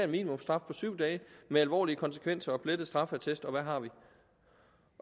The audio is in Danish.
minimumsstraf på syv dage med alvorlige konsekvenser og plettet straffeattest og hvad har vi